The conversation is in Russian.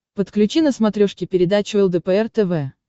подключи на смотрешке передачу лдпр тв